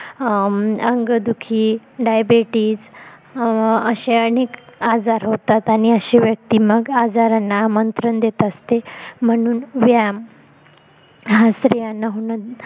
अंगदुखी diabetes असे अनेक आजार होतात आणि आसे व्यक्ती मग आजारांना आमंत्रण देत असते म्हणून व्यायाम हा स्त्रियांना